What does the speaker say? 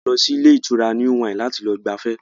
A lọ sí ilé ìtura New Wine láti lọ gbafẹ́